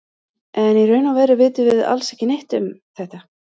En í raun og veru vitum við alls ekki neitt um þetta.